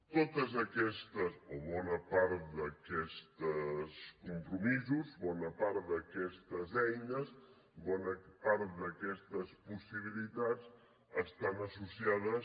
totes aquestes o bona part d’aquests compromisos bona part d’aquestes eines bona part d’aquestes possibilitats estan associades